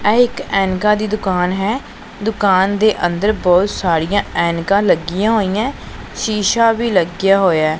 ਇਹ ਇੱਕ ਐਨਕਾਂ ਦੀ ਦੁਕਾਨ ਹੈ ਦੁਕਾਨ ਦੇ ਅੰਦਰ ਬਹੁਤ ਸਾਰੀਆਂ ਐਨਕਾਂ ਲੱਗੀਆਂ ਹੋਈਐਂ ਸ਼ੀਸ਼ਾ ਵੀ ਲੱਗਿਆ ਹੋਇਐ।